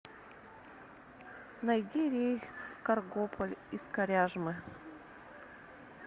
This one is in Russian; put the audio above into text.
найди рейс в каргополь из коряжмы